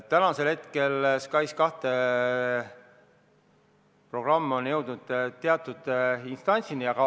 Tänaseks on SKAIS2 programm jõudnud teatud instantsi.